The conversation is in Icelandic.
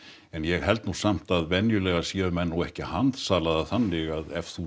en ég held nú samt að venjulega séu menn nú ekki að handsala það þannig að ef þú